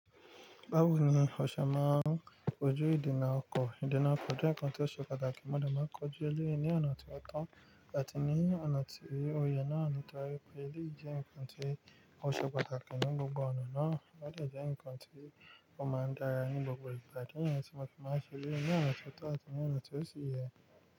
Báwo ni o ṣe máa ń kojú ìdènà ọkọ̀? Ìdènà ọkọ̀ jẹ́ ǹkan tó ṣe pàtàkì, mo dà máa ń kojú èlé ní ọ̀nà tí ó to àti ní ọ̀nà tí ó yẹ náà, nítorí pé eleyiì jẹ ǹkan tí ó ṣe pàtàkì ní gbogbo ọ̀nà náà, ó dà jẹ́ ǹkan tí ó máa ń dára ní gbogbo ìgbà. Idi niyen tí mo fi máa ṣe eleyi ní ọ̀nà tó to àti ní ọ̀nà tí ó sì yẹ.